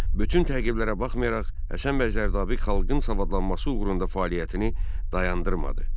Bütün təqiblərə baxmayaraq, Həsən bəy Zərdabi xalqın savadlanması uğrunda fəaliyyətini dayandırmadı.